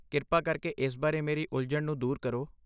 ਕਿਰਪਾ ਕਰਕੇ ਇਸ ਬਾਰੇ ਮੇਰੀ ਉਲਝਣ ਨੂੰ ਦੂਰ ਕਰੋ।